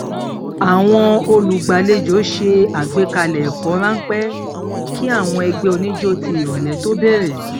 àwọn olùgbàlejò ṣe àgbékalè ẹkọ ráńpẹ kí àwọn ẹgbẹ oníjó ti ìrọlẹ tó bẹrẹ